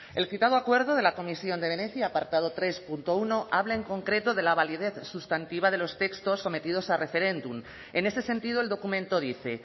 el citado acuerdo de la comisión de venecia apartado tres punto uno habla en concreto de la validez sustantiva de los textos sometidos a referéndum en ese sentido el documento dice